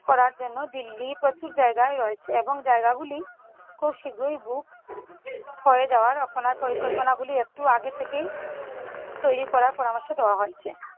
করার জন্য দিল্লির প্রচুর জায়গা রয়েছে এবং জায়গা গুলি খুব শীঘ্রই book হয়ে যাওয়ায় রচনা পরিকল্পনা গুলি একটু আগে থেকেই তৈরি করার পরামর্শ দেওয়া হচ্ছে ।